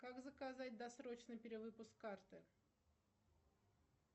как заказать досрочный перевыпуск карты